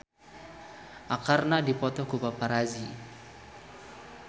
Arkarna dipoto ku paparazi